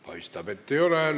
Paistab, et ei ole.